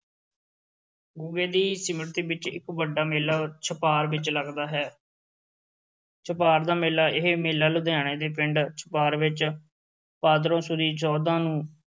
ਗੁੱਗੇ ਦੀ ਸਿਮਰਤੀ ਵਿੱਚ ਇੱਕ ਵੱਡਾ ਮੇਲਾ ਛਪਾਰ ਵਿੱਚ ਲੱਗਦਾ ਹੈ ਛਪਾਰ ਦਾ ਮੇਲਾ, ਇਹ ਮੇਲਾ ਲੁਧਿਆਣੇ ਦੇ ਪਿੰਡ ਛਪਾਰ ਵਿੱਚ, ਭਾਦਰੋਂ ਸੁਦੀ ਚੌਦਾਂ ਨੂੰ